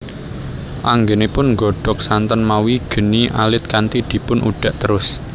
Anggenipun nggodhog santen mawi geni alit kanthi dipun udhak terus